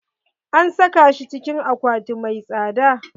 An saka shi cikin akwati mai tsada.